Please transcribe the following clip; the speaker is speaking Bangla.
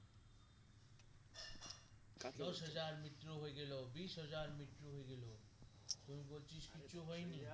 দশ হাজার মৃত্যু হয়ে গেলো বীজ হাজার মৃত্যু হয়ে গেলো তুই বলছিস কিছু হয়ে নি